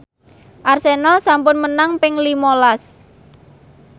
Arsenal sampun menang ping lima las